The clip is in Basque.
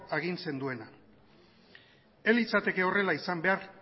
agintzen duena ez litzateke horrela izan behar